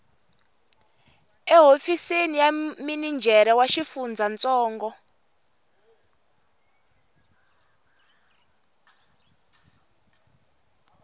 ehofisini ya minijere wa xifundzantsongo